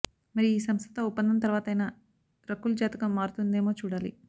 మరి ఈ సంస్థతో ఒప్పందం తర్వాతైనా రకుల్ జాతకం మారుతుందేమో చూడాలి